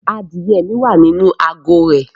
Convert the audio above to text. Adìye mi wà nínú àgó rẹ̀